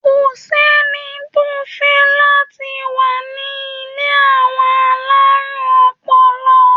Kò ṣẹ́ni tó fẹ́ láti wà ní ilé àwọn alárùn ọpọlọ.